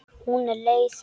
Hún er leið.